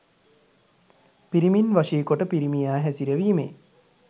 පිරිමින් වශීකොට පිරිමියා හැසිරවීමේ